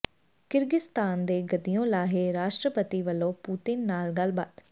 Kyrgyzstan ਦੇ ਗੱਦੀਓਂ ਲਾਹੇ ਰਾਸ਼ਟਰਪਤੀ ਵੱਲੋਂ ਪੂਤਿਨ ਨਾਲ ਗੱਲਬਾਤ